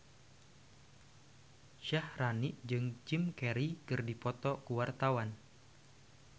Syaharani jeung Jim Carey keur dipoto ku wartawan